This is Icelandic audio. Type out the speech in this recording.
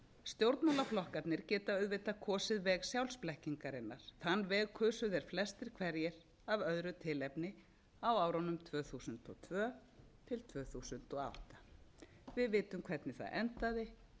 stjórnmálaflokkarnir geta auðvitað kosið veg sjálfsblekkingarinnar þann veg kusu þeir flestir hverjir af öðru tilefni á árunum tvö þúsund og tvö til tvö þúsund og átta við vitum hvernig það endaði